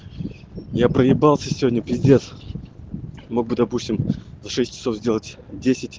я проебался сегодня пиздец мог бы допустим за шесть часов сделать десять